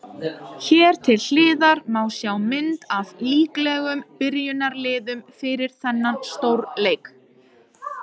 Hér til hliðar má sjá mynd af líklegum byrjunarliðum fyrir þennan stórleik.